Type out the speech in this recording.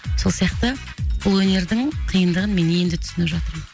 сол сияқты бұл өнердің қиындығын мен енді түсініп жатырмын